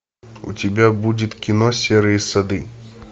у тебя будет кино серые сады